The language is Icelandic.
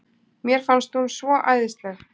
Mér fannst hún svo æðisleg.